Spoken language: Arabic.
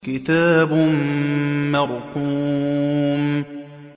كِتَابٌ مَّرْقُومٌ